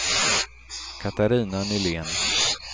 Catarina Nylén